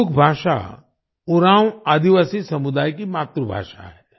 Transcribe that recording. कुडुख भाषा उरांव आदिवासी समुदाय की मातृभाषा है